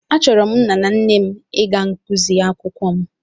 Achọrọ m nna m na nne m ịga ngụsị akwụkwọ m